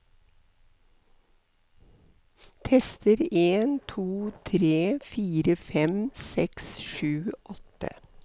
Tester en to tre fire fem seks sju åtte